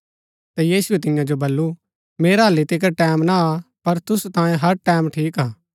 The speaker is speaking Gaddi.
ता यीशुऐ तियां जो बल्लू मेरा हालि तिकर टैमं ना आ पर तुसु तांयें हर टैमं ठीक हा